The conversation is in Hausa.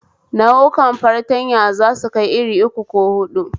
Nau'ukan fartanya zasu kai irin uku ko hudu